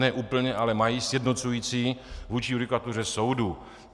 Ne úplně, ale mají sjednocující vůči judikatuře soudu.